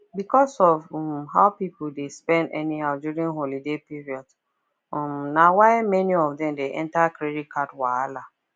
because of um how people dey spend anyhow during holiday period um na why many of dem dey enter credit card wahala